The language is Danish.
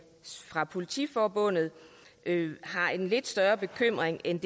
har i politiforbundet en lidt større bekymring end